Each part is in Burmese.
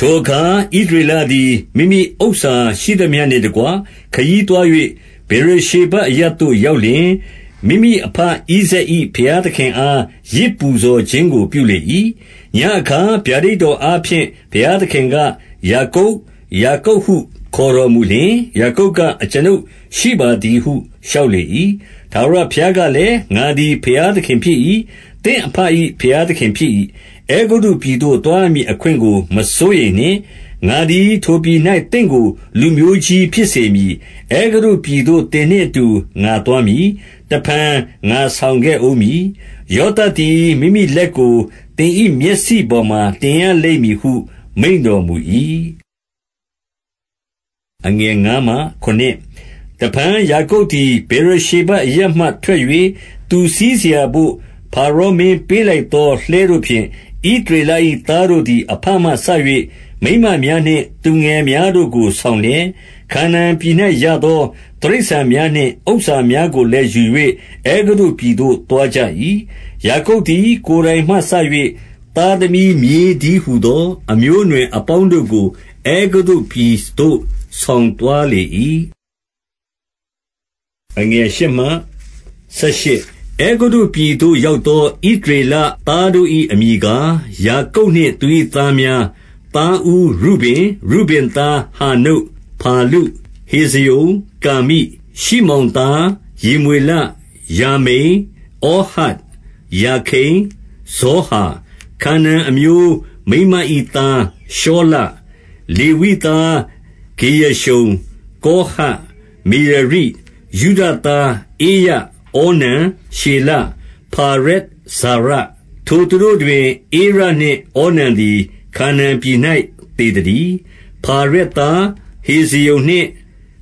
ထိုအခါ ဣသရေလသည် မိမိဥစ္စာရှိသမျှနှင့်တကွ ခရီးသွား၍ ဗေရရှေဘအရပ်သို့ ရောက်လျှင်၊ မိမိ အဘဣဇာက်၏ ဘုရားသခင်အား ယဇ်ပူဇော်ခြင်းကို ပြုလေ၏။ ညဉ့်အခါ ဗျာဒိတ်တော်အားဖြင့် ဘုရားသခင် က၊ ယာကုပ်၊ ယာကုပ် ဟုခေါ်တော်မူလျှင်၊ ယာကုပ်က အကျွန်ုပ်ရှိပါသည်ဟု လျှောက်လေ၏။ ထာဝရဘုရားကလည်း၊ ငါသည် ဘုရားသခင် ဖြစ်၏။ သင့်အဘ၏ ဘုရားသခင်ဖြစ်၏။ အဲဂုတ္တုပြည်သို့ သွားရမည်အခွင့်ကို မစိုးရိမ်နှင့်။ ငါသည် ထိုပြည်၌ သင့်ကို လူမျိုးကြီးဖြစ်စေမည်။ အဲဂုတ္တုပြည်သို့ သင်နှင့်အတူ ငါသွားမည်။ တဖန် ငါဆောင်ခဲ့ဦး မည်။ ယောသပ်သည် မိမိလက်ကို သင်၏မျက်စိပေါ်မှာ တင်ရလိမ့်မည်ဟု မိန့်တော်မူ၏။ တဖန်ယာကုပ်သည် ဗေရရှေဘအရပ်မှထွက်၍၊ သူစီးစရာဘို့ ဖါရောမင်းပေးလိုက်သော လှည်းတို့ဖြင့် ဣသရေလ၏သားတို့သည် အဘမှစ၍ မိန်းမများနှင့် သူငယ်များတို့ကို ဆောင်လျက်၊ ခါနာန်ပြည်၌ရသော တိရစ္ဆာန်များနှင့် ဥစ္စာများကိုလည်း ယူ၍ အဲဂုတ္တုပြည်သို့ သွားကြ၏။ ယာကုပ်သည် ကိုယ်တိုင်မှစ၍ သားသမီးမြေးတည်းဟူသော အမျိုးအနွယ်အပေါင်းတို့ကို အဲဂုတ္တုပြည် သို့ ဆောင်သွားလေ၏။ အဲဂုတ္တုပြည်သို့ရောက်သော ဣသရေလသားတို့၏အမည်ကား၊ ယာကုပ်နှင့် သူ၏သားများ။ သားဦးရုဗင်။ ရုဗင်သား။ ဟာနုတ်၊ ဖါလု၊ ဟေဇရုံ၊ ကာမိ။ ရှိမောင်သား။ ယေမွေလ၊ ယာမိန်၊ ဩဟဒ်၊ ယာခိန်၊ ဇောဟာ၊ ခါနာန်အမျိုး မိန်းမ၏သား ရှောလ။ လေဝိသား။ ဂေရရှုံ၊ ကောဟတ်၊ မေရာရိ။ ယုဒသား။ ဧရ၊ ဩနန်၊ ရှေလ၊ ဖါရက်၊ ဇာရ။ ထိုသူတို့တွင် ဧရနှင့်ဩနန်သည် ခါနာန်ပြည်၌ သေ သတည်း။ ဖါရက်သား၊ ဟေဇရုံနှင့်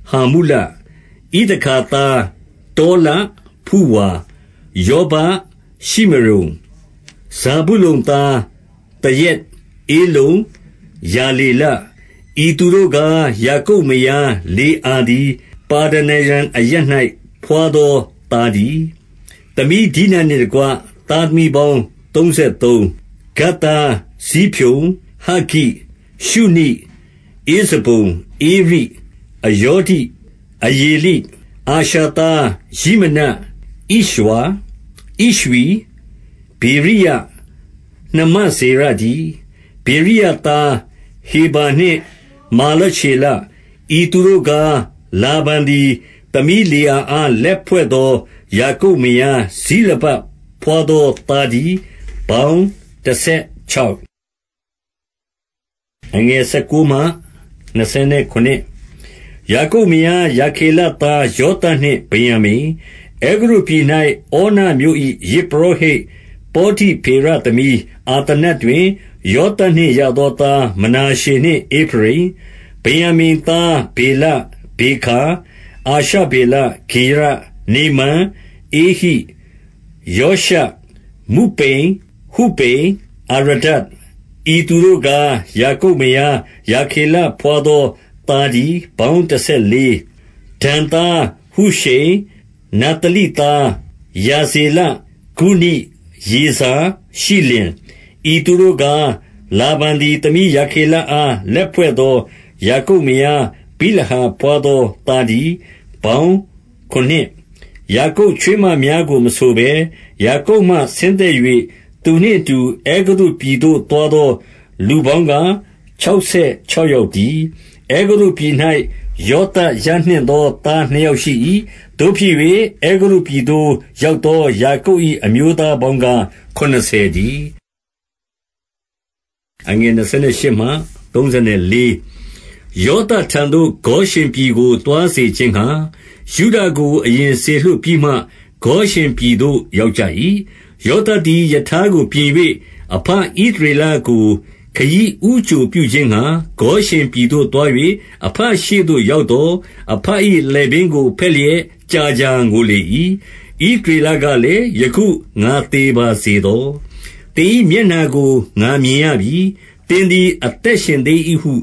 ဟာမုလ။ ဣသခါသား။ တောလ၊ ဖုဝါ၊ ယောဘ၊ ရှိမရုန်။ ဇာဗုလုန်သား။ သရက်၊ ဧလုန်၊ ယာလေလ။ ဤသူတို့ကား၊ ယာကုပ်မယားလေအာသည် ပါဒနာရံအရပ်၌ ဘွားသော သားတည်း။ သမီးဒိနနှင့် တကွ၊ သားသမီးပေါင်းသုံးဆယ်သုံး။ ဂဒ်သား။ ဇိဖျန်၊ ဟဂ္ဂိ၊ ရှုနိ၊ ဧဇေုန်၊ ဧရီ၊ အရောဒိ၊ အရေလိ။ အာရှာသား။ ယိမန။ ဣရွာ၊ ဣရွှိ၊ ဗေရိယ၊ နှမစေရတည်း။ ဗေရိယသား၊ ဟေဗာနှင့် မာလချေလ။ ဤသူတို့ကား၊ လာဗန်သည် သမီးလေးအာအား၊ လက်ဖွဲ့သော ယာကုပ်မယား ဇိလပဘွားသော သား တည်း။ ပေါင်းတဆယ်ခြောက်။ ယာကုပ်မယား ရာခေလသား။ ယောသပ်နှင့် ဗင်္ယာမိန်။ အဲဂုတ္တုပြည်၌ ဩနမြို့၏ ယဇ်ပုရောဟိတ် ပေါတိဖေရသမီးအာသနတ်တွင် ယောသပ်နှင့်ရသော သား၊ မနာရှေနှင့်ဧဖရိမ်။ ဗင်္ယာမိန်သား။ ဗေလ၊ ဗေခါ၊ အာရှဗေလ၊ ဂေရ၊ နေမန်၊ ဧဟိ၊ ရောရှ၊ မုပိမ်၊ ဟုပိမ်၊ အာရဒ။ ဤသူတို့ကား၊ ယာကုပ်မယား ရာခေလဘွားသောသားတည်း။ ပေါင်းတဆယ်လေး။ ဒန်သား။ ဟုရှိမ်။- နဿလိသား။ ယာဗေလ၊ ဂုနိ၊ ယေဇာ၊ ရှိလင်။ ဤသူတို့ကား၊ လာဗန်သည် သမီးရာခေလအား လက်ဖွဲ့သော ယာကုပ်မယား ဗိလဟာဘွားသော သားတည်း။ ပေါင်းခုနစ်။ ယာကုပ်ချွေးမများကို မဆိုဘဲ၊ ယာကုပ်မှဆင်းသက်၍၊ သူနှင့်အတူ အဲဂုတ္တုပြည်သို့သွားသော လူပေါင်း ကား၊ ခြောက်ဆယ်ခြောက်ယောက်တည်း။ အဲဂုတ္တုပြည်၌ ယောသပ်ရနှင့်သော သားနှစ်ယောက်ရှိ၏။ သို့ဖြစ်၍ အဲဂုတ္တုပြည်သို့ရောက်သော ယာကုပ်၏အမျိုးသားအပေါင်းကား ခုနစ်ဆယ်တည်း။ ယောသပ်ထံသို့ ဂေါရှင်ပြည်ကိုသွားစေခြင်းငှါ ယုဒကို အရင်စေလွှတ်ပြီးမှ ဂေါရှင်ပြည်သို့ရောက်ကြ၏။ ယောသပ်သည် ရထားကိုပြင်၍ အဘဣသရေလကို ခရီးဦးကြိုပြုခြင်းငှါ ဂေါရှင်ပြည်သို့ သွား၍ အဘရှေ့သို့ရောက်သော်၊ အဘ၏လည်ပင်းကို ဘက်လျက် ကြာကြာငိုလေ၏။ ဣသရေလကလည်း၊ ယခုငါသေပါစေသော။ သင်၏မျက်နှာကို ငါမြင်ရပြီ။ သင်သည် အသက်ရှင်သေး ၏ဟု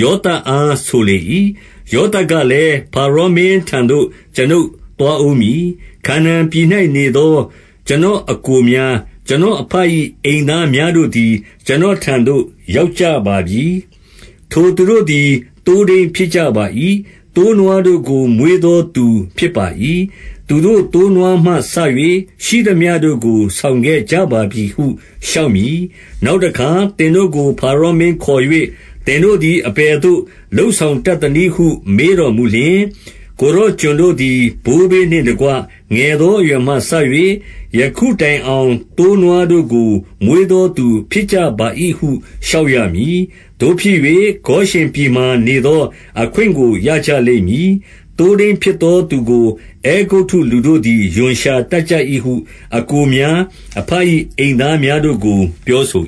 ယောသပ်အား ဆိုလေ၏။ ယောသပ်ကလည်း၊ ဖါရောမင်းထံသို့ ကျွန်ုပ် သွားဦးမည်။ ခါနာန်ပြည်၌နေသော ကျွန်တော်အစ်ကို များ၊ ကျွန်တော်အဘ၏ အိမ်သားများတို့သည် ကျွန်တော် ထံသို့ ရောက်ကြပါပြီ။ ထိုသူတို့သည် သိုးထိန်းဖြစ်ပါ၏။ သိုးနွားတို့ကို မွေးသောသူဖြစ်ပါ၏။ သူတို့သိုးနွားမှစ၍ ရှိသမျှတို့ကို ဆောင်ခဲ့ကြပါပြီဟု လျှောက်မည်။ နောက်တခါ သင်တို့ကို ဖါရောမင်းခေါ်၍ သင်တို့သည် အဘယ်သို့ လုပ်ဆောင်တတ်သနည်းဟု မေးတော်မူလျှင်၊ ကိုယ်တော်ကျွန်တော်တို့သည် ဘိုးဘေးနှင့်တကွ၊ ငယ်သော အရွယ်မှစ၍ ယခုတိုင်အောင် သိုးနွားတို့ကို မွေးသောသူဖြစ်ကြပါ၏ဟု လျှောက်ရမည်။ သို့ဖြစ်၍ ဂေါရှင်ပြည်မှာ နေသောအခွင့်ကို ရကြလိမ့်မည်။ သိုး ထိန်းဖြစ်သောသူကို အဲဂုတ္တုလူတို့သည် ရွံရှာတတ်ကြ၏ ဟု အစ်ကိုများ အဘ၏အိမ်သားများတို့ကို ပြောဆို